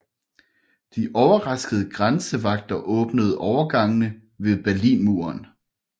De overraskede grænsevagter åbnede overgangene ved Berlinmuren